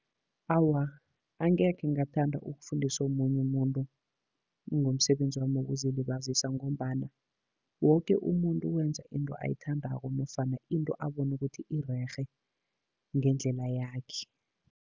Awa, angekhe ngathanda ukufundisa omunye umuntu ngomsebenzi wami wokuzilibazisa, ngombana woke umuntu wenza into ayithandako nofana into abona ukuthi irerhe ngendlela yakhe.